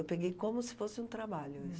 Eu peguei como se fosse um trabalho isso.